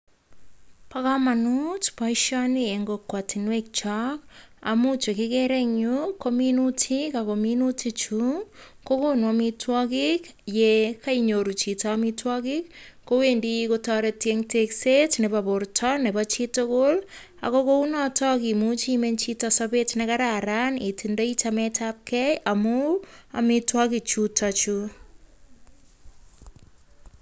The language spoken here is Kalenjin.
Bo kamanut boishoni eng kokwatinwek chok amu che kikere eng yu, ko minutik ako minutik chu kokonu amitwagik. Ye kaiyoru chito amitwagik kowendi kotareti tekset nebo borta nebo chitugul, ako kou notak imuche imeny chita sabet nekararan itindai chametabkei amu amitwagik chutachu.